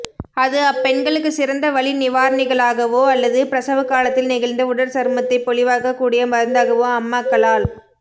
அது அப்பெண்களுக்கு சிறந்த வலி நிவாரணிகளாகவோ அல்லது பிரசவகாலத்தில் நெகிழ்ந்த உடற்சருமத்தை பொலிவாக்கக் கூடிய மருந்தாகவோ அம்மக்களால்